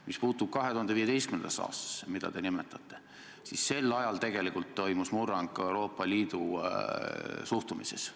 Mis puutub 2015. aastasse, mida te nimetasite, siis sel ajal tegelikult toimus murrang ka Euroopa Liidu suhtumises.